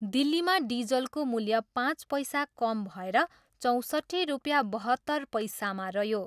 दिल्लीमा डिजलको मूल्य पाँच पैसा कम भएर चौँसट्ठी रुपियाँ बहत्तर पैसामा रह्यो।